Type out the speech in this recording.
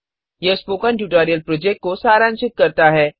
यह spoken tutorial project को सारांशित करता है